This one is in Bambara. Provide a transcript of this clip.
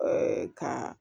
kan